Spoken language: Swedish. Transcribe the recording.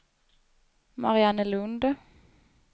Mariannelund